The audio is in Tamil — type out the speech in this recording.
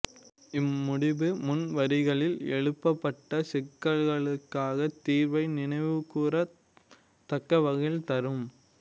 இம்முடிபு முன்வரிகளில் எழுப்பப்பட்ட சிக்கலுக்கான தீர்வை நினைவுகூரத் தக்கவகையில் தரும்